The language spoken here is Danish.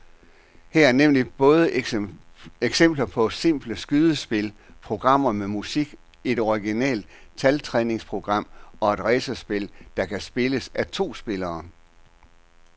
Her er nemlig både eksempler på simple skydespil, programmer med musik, et originalt taltræningsprogram og et racerspil, der kan spilles af to spillere.